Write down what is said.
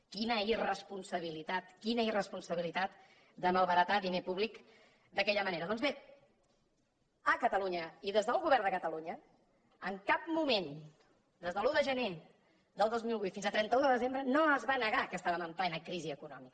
quina irresponsabilitat quina irresponsabilitat de malbaratar diner públic d’aquella manera doncs bé a catalunya i des del govern de catalunya en cap moment des de l’un de gener del dos mil vuit fins al trenta un de desembre no es va negar que estàvem en plena crisi econòmica